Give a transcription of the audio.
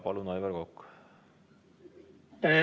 Palun, Aivar Kokk!